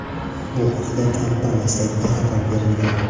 Bu haqda kompaniya saytida xabar berilgan .